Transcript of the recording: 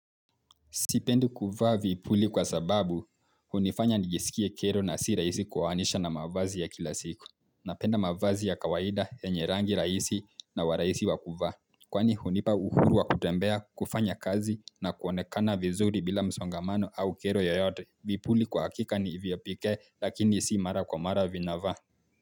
Sipendi kuvaa vipuli kwa sababu hunifanya nijisikie kero na sirahisi kuwaanisha na mavazi ya kila siku Napenda mavazi ya kawaida yenye rangi raisi na waraisi wa kuvaa. Kwani hunipa uhuru wa kutembea, kufanya kazi na kuonekana vizuri bila msongamano au kero yoyote. Vipuli kwa hakika ni viyopike lakini si mara kwa mara vina vaa.